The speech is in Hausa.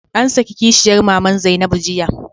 An saki kishiyar maman Zainabu jiya.